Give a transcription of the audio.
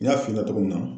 N y'a f'i ɲɛna cogo min na